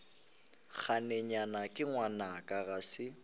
nakeyena ke ngwanaka ga se